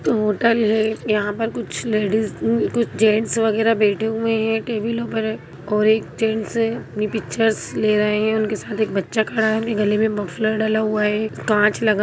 hotel है यहाँ पर कुछ लेडिस कुछ जेंट्स वगैरह बैठे हुए हैं टेबिलों पर और एक जेंट्स है अपनी पिक्चर्स ले रहे हैं उनके साथ एक बच्चा खड़ा है उनके गले में मफलर डला हुआ है कांच लगा --